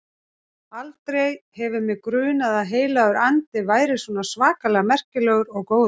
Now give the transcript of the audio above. Aldrei hefur mig grunað að Heilagur Andi væri svona svakalega merkilegur og góður.